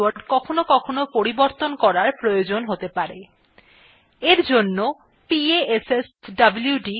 আপনার login password কখনও কখনও পরিবর্তন করার প্রয়োজন হতে পারে